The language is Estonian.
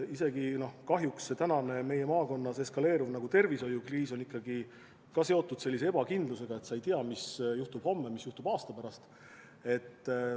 Isegi praegune meie maakonnas eskaleeruv tervishoiukriis on seotud ebakindlusega, et sa ei tea, mis juhtub homme, mis juhtub aasta pärast.